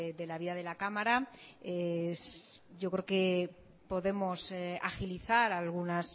de la vida de la cámara yo creo que podemos agilizar algunos